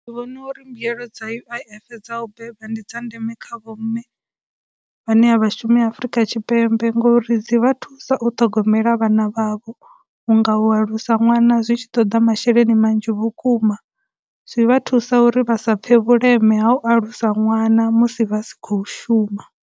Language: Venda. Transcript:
Ndi vhona uri mbuyelo dza U_I_F dza u beba ndi dza ndeme kha vho mme vhane a vha shumi Afurika Tshipembe ngori, dzi vha thusa u ṱhogomela vhana vha vho, u nga u alusa ṅwana zwi tshi toḓa masheleni manzhi vhukuma, zwi vha thusa uri vha sa pfhe vhuleme ha u alusa ṅwana musi vha si khou shuma.